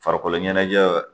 Farikolo ɲɛnajɛ